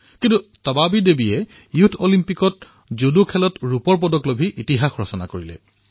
কিন্তু তবাবী দেৱীয়ে ইয়থ অলিম্পিকত জুডোত ৰূপৰ পদক জয় কৰি ইতিহাস ৰচনা কৰিলে